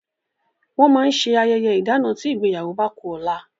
Wọn máa ń ṣe ayẹyẹ ìdana tí ìgbéyàwó bá ku ọ̀la